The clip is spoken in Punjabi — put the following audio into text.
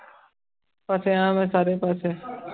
ਫਸਿਆ ਮੈਂ ਸਾਰੇ ਪਾਸੇ